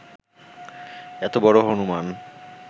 এত বড় হনূমান্